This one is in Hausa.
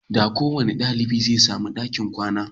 Da kowanne dalibi zai sami ɗakin kwana